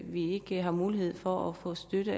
vi ikke har mulighed for at få støtte